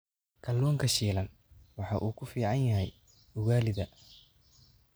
Kalluunka shiilan waxa uu ku fiican yahay ugalida